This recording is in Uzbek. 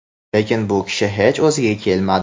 Lekin bu kishi hech o‘ziga kelmadi.